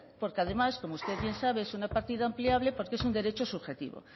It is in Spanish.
porque además como usted bien sabe es una partida ampliable porque es un derecho subjetivo